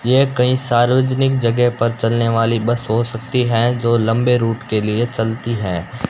यह कहीं सार्वजनिक जगह पर चलने वाली बस हो सकती है जो लंबे रूट के लिए चलती हैं।